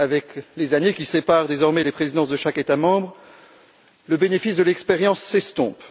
Avec les années qui séparent désormais les présidences de chaque État membre, le bénéfice de l'expérience s'estompe.